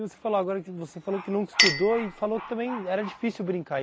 E você falou agora que você falou que nunca estudou e falou que também era difícil brincar.